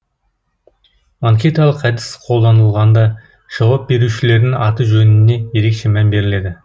анкеталық әдіс қолданылғанда жауап берушілердің аты жөніне ерекше мән беріледі